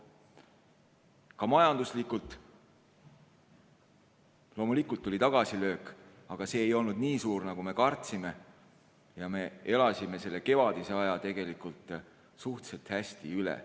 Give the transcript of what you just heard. Ka majanduslikult loomulikult tuli tagasilöök, aga see ei olnud nii suur, nagu me kartsime, ja me elasime selle kevadise aja tegelikult suhteliselt hästi üle.